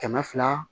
Kɛmɛ fila